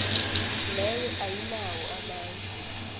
leyo ayinawo amandla